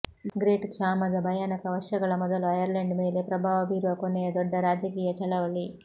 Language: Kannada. ಗ್ರೇಟ್ ಕ್ಷಾಮದ ಭಯಾನಕ ವರ್ಷಗಳ ಮೊದಲು ಐರ್ಲೆಂಡ್ ಮೇಲೆ ಪ್ರಭಾವ ಬೀರುವ ಕೊನೆಯ ದೊಡ್ಡ ರಾಜಕೀಯ ಚಳವಳಿ